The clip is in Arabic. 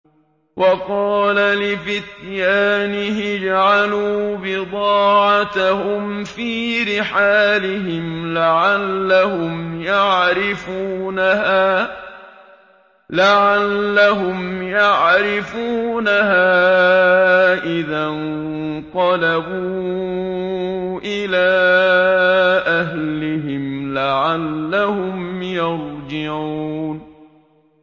وَقَالَ لِفِتْيَانِهِ اجْعَلُوا بِضَاعَتَهُمْ فِي رِحَالِهِمْ لَعَلَّهُمْ يَعْرِفُونَهَا إِذَا انقَلَبُوا إِلَىٰ أَهْلِهِمْ لَعَلَّهُمْ يَرْجِعُونَ